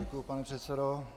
Děkuji, pane předsedo.